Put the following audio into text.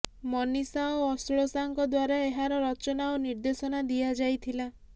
ମନୀଷା ଓ ଆଶ୍ଲୋଷାଙ୍କ ଦ୍ବାରା ଏହାର ରଚନା ଓ ନିର୍ଦ୍ଦେଶନା ଦିଆଯାଇଥିଲା